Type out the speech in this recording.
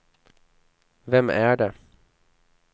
vem är det